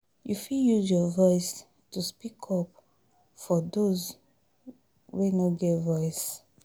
You fit use your voice to speak up for those wey no get voice.